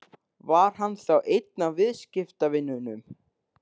Var hann þá einn af viðskiptavinunum?